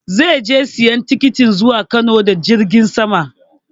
Zai je sayan tikitin zuwa Kano da jirgin sama